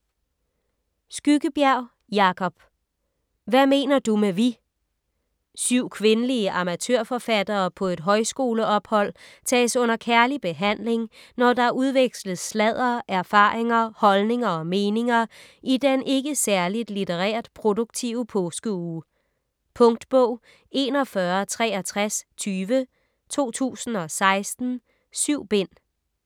Skyggebjerg, Jacob: Hvad mener du med vi Syv kvindelige amatørforfattere på et højskoleophold tages under kærlig behandling, når der udveksles sladder, erfaringer, holdninger og meninger i den ikke særligt litterært produktive påskeuge. Punktbog 416320 2016. 7 bind.